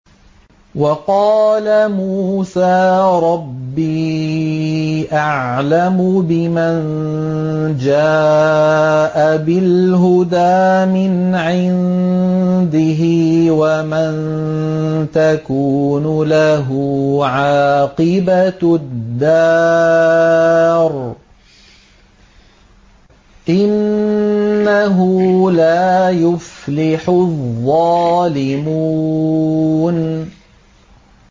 وَقَالَ مُوسَىٰ رَبِّي أَعْلَمُ بِمَن جَاءَ بِالْهُدَىٰ مِنْ عِندِهِ وَمَن تَكُونُ لَهُ عَاقِبَةُ الدَّارِ ۖ إِنَّهُ لَا يُفْلِحُ الظَّالِمُونَ